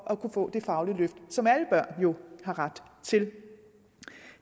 at kunne få det faglige løft som alle børn jo har ret til det